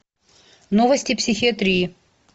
новости психиатрии